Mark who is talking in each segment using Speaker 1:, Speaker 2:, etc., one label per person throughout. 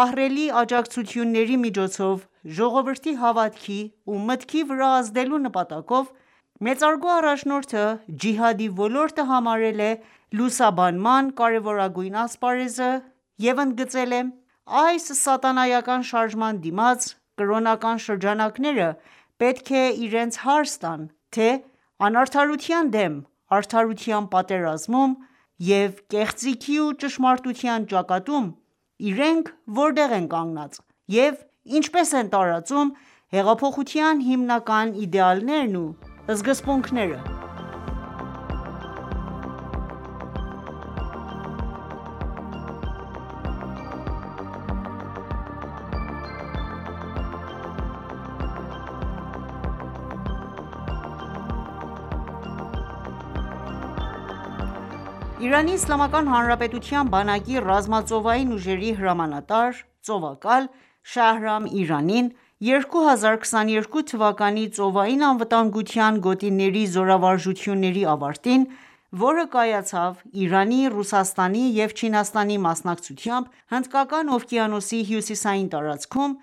Speaker 1: ահռելի աջակցությունների միջոցով ժողովրդի հավատքի ու մտքի վրա ազդելու նպատակով, մեծարգո առաջնորդը ջիհադի ոլորտը համարել է լուսաբանման կարևորագույն ասպարեզը և ընդգծել է.«Այս սատանայական շարժման դիմաց, կրոնական շրջանակները պետք է իրենց հարց տան, թե անարդարության դեմ արդարության պատերազմում և կեղծիքի ու ճշմարտության ճակատում իրենք որտե՞ղ են կանգնած և ինչպե՞ս են տարածում հեղափոխության հիմնական իդեալներն ու սկզբունքները»։ Իրանի Իսլամական Հանրապետության բանակի ռազմածովային ուժերի հրամանատար, ծովակալ Շահրամ Իրանին ,2022 թվականի ծովային անվտանգության գոտիների զորավարժությունների ավարտին ,որը կայացավ իրանի, Ռուսաստանի և Չինաստանի մասնակցությամբ, Հնդկական oվկիանոսի հյուսիսային տարածքում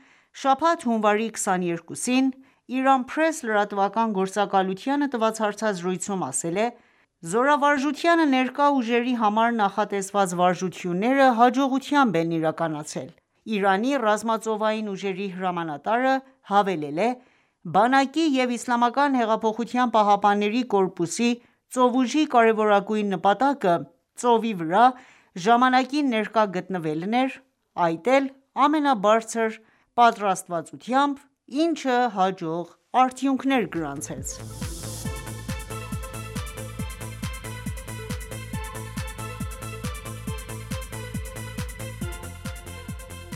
Speaker 1: ,շաբաթ հունվարի 22-ին «Իրան Փրես» լրատվական գործակալությանը տված հարցազրույցում ասել է.«Զորավարժությանը ներկա ուժերի համար նախատեսված վարժությունները ,հաջողությամբ են իրականացել»:Իրանի ռազմածովային ուժերի հրամանատարը հավելել է.«Բանակի և Իսլամական հեղափոխության պահապանների կորպուսի ծովուժի կարևորագույն նպատակը՝ ծովի վրա ժամանակին ներկա գտնվելն էր, այդ էլ ամենաբարձր պատրաստվածությամբ, ինչը հաջող արդյունքներ գրանցեց»: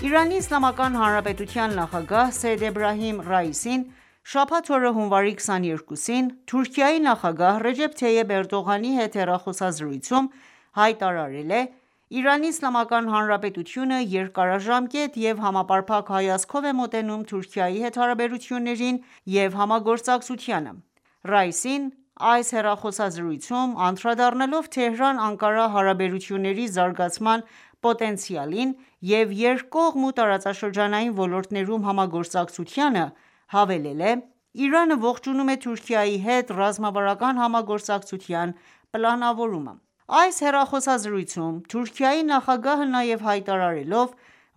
Speaker 1: Իրանի Իսլամական Հանրապետության նախագահ Սեյեդ Էբրահիմ Ռայիսին շաբաթ օրը՝ հունվարի 22-ին, Թուրքիայի նախագահ Ռեջեփ Թայիփ Էրդողանի հետ հեռախոսազրույցում հայտարարել է.«Իրանի Իսլամական Հանրապետությունը երկարաժամկետ և համապարփակ հայացքով է մոտենում Թուրքիայի հետ հարաբերություններին և համագործակցությանը» ։Ռայիսին, այս հեռախոսազրույցում, անդրադառնալով Թեհրան-Անկարա հարաբերությունների զարգացման պոտենցիալին և երկկողմ ու տարածաշրջանային ոլորտներում համագործակցությանը, հավելել է.«Իրանը ողջունում է Թուրքիայի հետ ռազմավարական համագործակցության պլանավորումը.»: Այս հեռախոսազրույցում ,Թուրքիայի նախագահը նաև հայտարարելով,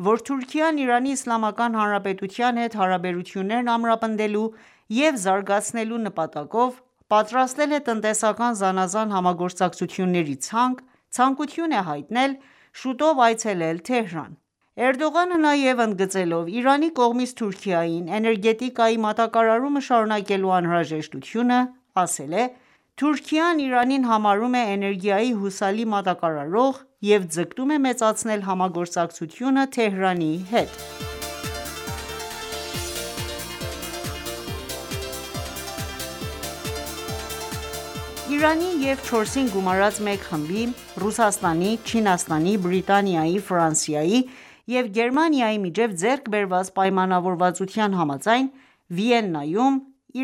Speaker 1: որ Թուրքիան, Իրանի Իսլամական Հանրապետության հետ հարաբերություններն ամրապնդելու և զարգացնելու նպատակով պատրաստել է տնտեսական զանազան համագործակցությունների ցանկ, ցանկություն է հայտնել շուտով այցելել Թեհրան։ Էրդողանը նաև ընդգծելով Իրանի կողմից Թուրքիային էներգետիկայի մատակարարումը շարունակելու անհրաժեշտությունը, ասել է .«Թուրքիան, Իրանին համարում է էներգիայի հուսալի մատակարարող և ձգտում է մեծացնել համագործակցությունը Թեհրանի հետ»։ Իրանի և 4+1 խմբի (Ռուսաստանի, Չինաստանի, Բրիտանիայի և Գերմանիայի)միջև ձեռք բերված պայմանավորվածության համաձայն, Վիեննայում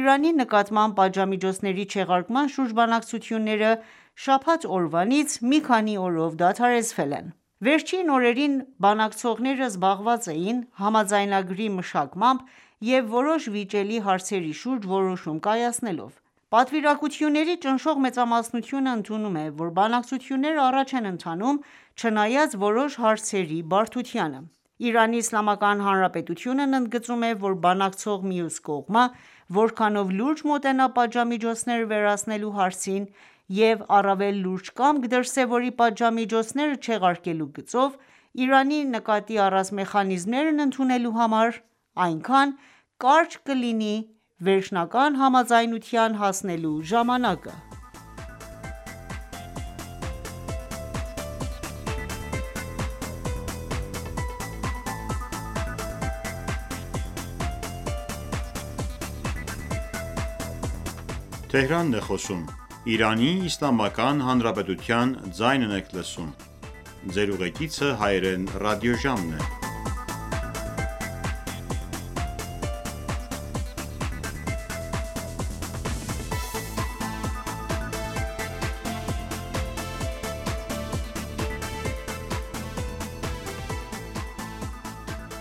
Speaker 1: Իրանի նկատմամբ պատժամիջոցների չեղարկման շուրջ բանակցությունները շաբաթ օրվանից մի քանի օրով դադարեցվել են ։Վերջին օրերին բանակցողները զբաղված էին համաձայնագրի մշակմամբ և որոշ վիճելի հարցերի շուրջ որոշում կայացնելով:Պատվիրակությունների ճնշող մեծամասնությունը ընդունում է, որ բանակցությունները առաջ են ընթանում՝ չնայած որոշ հարցերի բարդությանը։ Իրանի Իսլամական Հանրապետությունն ընդգծում է, որ բանակցող մյուս կողմը որքանով լուրջ մոտենա պատժամիջոցները վերացնելու հարցին և առավել լուրջ կամք դրսևորի պատժամիջոցները չեղարկելու գծով ՝Իրանի նկատի առած մեխանիզմները ընդունելու համար, այնքան կարճ կլինի վերջնական համաձայնության հասնելու ժամանակը։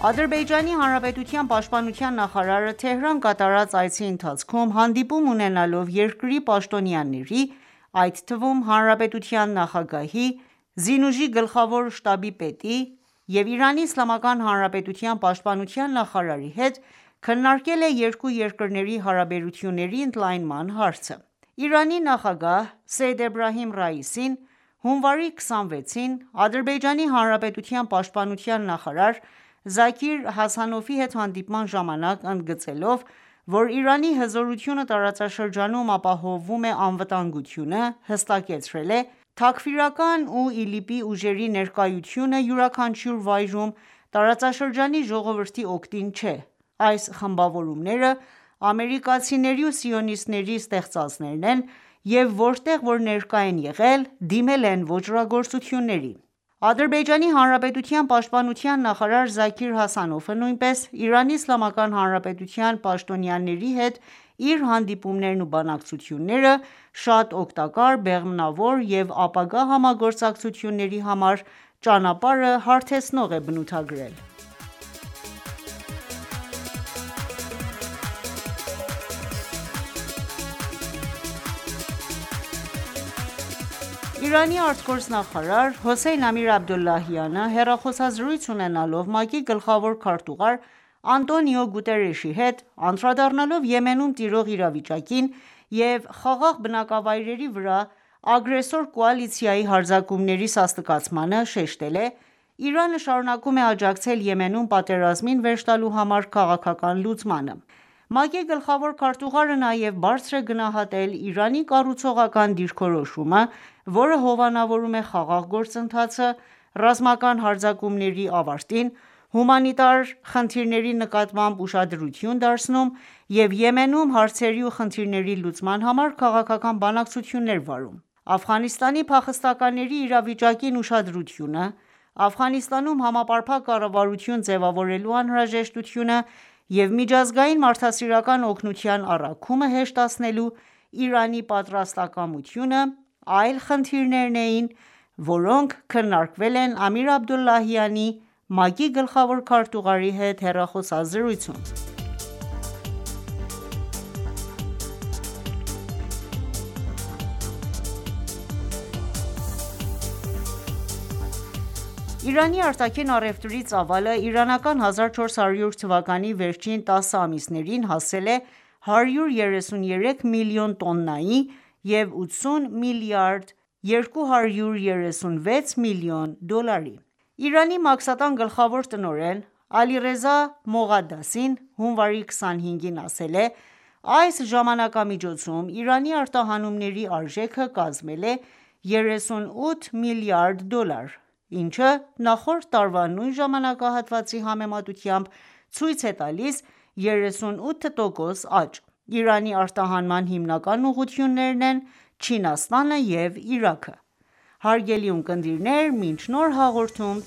Speaker 1: Ադրբեջանի հանրապետության պաշտպանության նախարարը Թեհրան կատարած այցի ընթացքում, հանդիպում ունենալով երկրի պաշտոնյաների, այդ թվում՝ Հանրապետության նախագահի, ԶՈՒ գլխավոր շտաբի պետի և Իրանի Իսլամական Հանրապետության պաշտպանության նախարարի հետ, քննարկել է երկու երկրների հարաբերությունների ընդլայնման հարցը։ Իրանի նախագահ Սեյեդ Էբրահիմ Ռայիսին հունվարի 26-ին ,Ադրբեջանի հանրապետության պաշտպանության նախարար Զաքիր Հասանովի հետ հանդիպման ժամանակ ընդգծելով, որ Իրանի հզորությունը տարածաշրջանում ապահովում է անվտանգությունը, հստակեցրել է.«Թաքֆիրական ու ԻԼԻՊ-ի ուժերի ներկայությունը յուրաքանչյուր վայրում ,տարածաշրջանի ժողովրդի օգտին չէ, այս խմբավորումները ամերիկացիների ու սիոնիստների ստեղծածներն են և որտեղ որ ներկա են եղել ,դիմել են ոճրագործութունների»: Ադրբեջանի հանրապետության պաշտպանության նախարար Զաքիր Հասանովը նույնպես Իրանի Իսլամական Հանրապետության պաշտոնյաների հետ իր հանդիպումներն ու բանակցությունները շատ օգտակար, բեղմնավոր և ապագա համագործակցությունների համար ճանապարհը հարթեցնող է բնութագրել: Իրանի արտգործնախարար Հոսեյն Ամիր-Աբդոլլահյանը հեռախոսազրույց ունենալով ՄԱԿ-ի գլխավոր քարտուղար Անտոնիո Գուտերեշի հետ, անդրադառնալով Եմենում տիրող իրավիճակին և խաղաղ բնակավայրերի վրա ագրեսոր կոալիցիայի հարձակումների սաստկացմանը, շեշտել է Իրանը շարունակում է աջակցել Եմենում պատերազմին վերջ տալու համար քաղաքական լուծմանը: ՄԱԿ-ի գլխավոր քարտուղարը նաև բարձր է գնահատել Իրանի կառուցողական դիրքորոշումը, որը հովանավորում է ՝ խաղաղ գործընթացը, ռազմական հարձակումների ավարտին, հումանիտար խնդիրների նկատմամբ ուշադրություն դարձնում և Եմենում հարցերի ու խնդիրների լուծման համար քաղաքական բանակցություններ վարում: Աֆղանստանի փախստականների իրավիճակին ուշադրությունը, Աֆղանստանում համապարփակ կառավարություն ձևավորելու անհրաժեշտությունը և միջազգային մարդասիրական օգնության առաքումը հեշտացնելու Իրանի պատրաստակամությունը, այլ խնդիրներն էին, որոնք քննարկվել են Ամիր Աբդուլլահյանի՝ ՄԱԿ-ի գլխավոր քարտուղարի հետ հեռախոսազրույցում։ Իրանի արտաքին առևրտրի ծավալը իրանական 1400 թվականի վերջին տասը ամիսներին հասել է 133 միլիոն տոննայի և 80 միլիարդ 236 միլիոն դոլարի։ Իրանի մաքսատան գլխավոր տնօրեն Ալիռեզա Մողադասին հունվարի 25-ին ասել է.«Այս ժամանակամիջոցում ,Իրանի արտահանումների արժեքը կազմել է 38 մլրդ դոլար, ինչը նախորդ տարվա նույն ժամանակահատվածի համեմատությամբ ցույց է տալիս 38 տոկոս աճ։ Իրանի արտահանման հիմնական ուղղություններն են ՝Չինաստանը և Իրաքը։ Հարգելի ունկնդիրներ, մինչ նոր հաղորդում